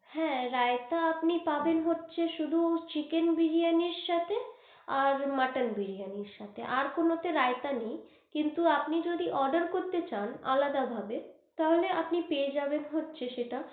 হ্যাঁ রায়তা আপনি পাবেন হচ্ছে শুধু চিকেন বিরিয়ানির সাথে আর মটন বিরিয়ানির সাথে আর কোনো তে রায়তা নেয়, কিন্তু আপনি যদি order করতে চান আলাদা ভাবে, তাহলে আপনি পেয়ে যাবেন হচ্ছে সেটা।